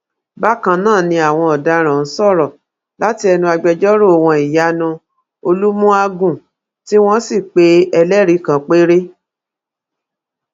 bákan náà ni àwọn ọdaràn ọhún sọrọ láti ẹnu agbẹjọrò wọn ìyanu olùmùàgun tí wọn sì pe ẹlẹrìí kan péré